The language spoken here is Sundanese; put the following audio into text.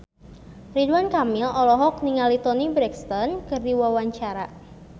Ridwan Kamil olohok ningali Toni Brexton keur diwawancara